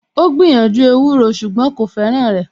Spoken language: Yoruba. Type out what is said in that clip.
Ó gbìyànjú ewúro ṣùgbọ́n kò fẹ́ràn rẹ̀